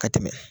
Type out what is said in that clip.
Ka tɛmɛ